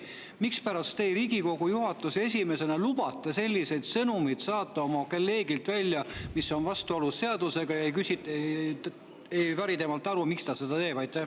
Mispärast te Riigikogu juhatuse esimehena lubate oma kolleegil saata välja sõnumeid, mis on vastuolus seadusega, ega päri temalt aru, miks ta seda teeb?